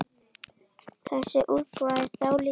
Þessi útgáfa er dálítið villt.